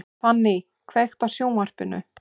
Fanny, kveiktu á sjónvarpinu.